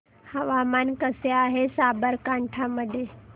हवामान कसे आहे साबरकांठा मध्ये